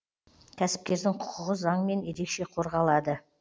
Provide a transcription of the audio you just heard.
кәсіпкердің құқығы заңмен ерекше қорғалады